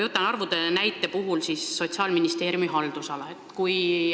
Toon ühe näite, võtan arvud Sotsiaalministeeriumi haldusalast.